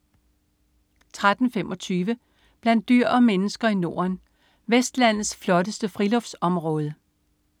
13.25 Blandt dyr og mennesker i Norden. Vestlandets flotteste friluftsområde